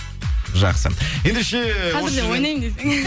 жақсы ендеше қазір де ойнаймын десе